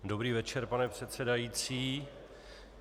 Dobrý večer, pane předsedající.